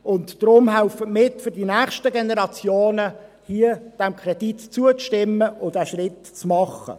Deshalb: Helfen Sie mit, für die nächsten Generationen, diesem Kredit zuzustimmen und den Schritt zu machen.